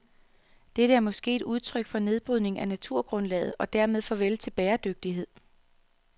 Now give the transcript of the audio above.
Dette er måske et udtryk for nedbrydning af naturgrundlaget, og dermed farvel til bæredygtighed.